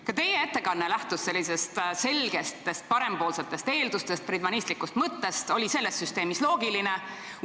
Ka teie ettekanne lähtus sellistest selgetest parempoolsetest eeldustest, friedmanlikust mõttest, mis on selle süsteemi puhul loogiline.